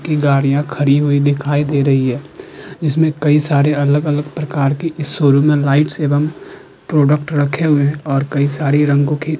की गाड़ियां खड़ी हुई दिखाई दे रही हैं जिसमे कई सारी अलग-अलग प्रकार की इस शोरूम में लाइट्स एवं प्रोडक्ट रखे हुए हैं और कई सारे रंगो की --